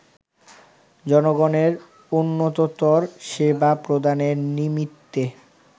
জনগণের উন্নততর সেবা প্রদানের নিমিত্তে